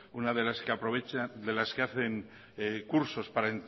una de las que hacen cursos para